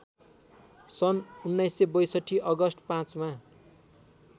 सन् १९६२ अगस्ट ५ मा